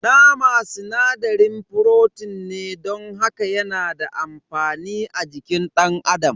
Nama sinadarin frotin ne don haka yana da amfani a jikin dan adam.